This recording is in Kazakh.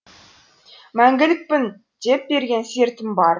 мәңгілікпін деп берген сертім бар